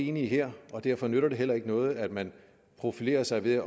enige her og derfor nytter det heller ikke noget at man profilerer sig ved at